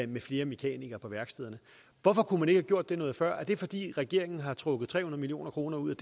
med flere mekanikere på værkstederne hvorfor kunne man ikke have gjort det noget før er det fordi regeringen har trukket tre hundrede million kroner ud